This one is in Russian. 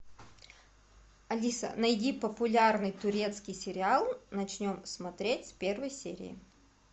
алиса найди популярный турецкий сериал начнем смотреть с первой серии